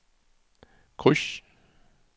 kryds